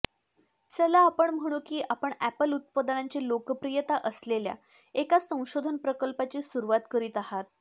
चला आपण म्हणू की आपण ऍपल उत्पादनांची लोकप्रियता असलेल्या एका संशोधन प्रकल्पाची सुरुवात करीत आहात